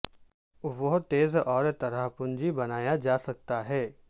وہ تیز اور طرح پنجی بنایا جا سکتا ہے